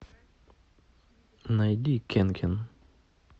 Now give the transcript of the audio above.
найди кенкен